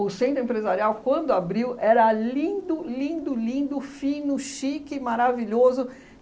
O Centro Empresarial, quando abriu, era lindo, lindo, lindo, fino, chique, maravilhoso.